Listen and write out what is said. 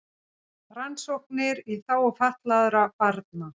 Rannsóknir í þágu fatlaðra barna